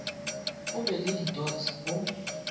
go be le dots go